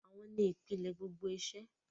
Àwọn ni ìpìlẹ̀ gbogbo iṣẹ́.